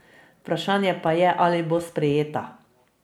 Vprašanje pa je, ali bo sprejeta.